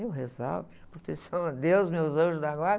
Eu rezava, pedia proteção a Deus, meus anjos da guarda.